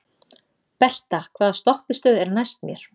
Berta, hvaða stoppistöð er næst mér?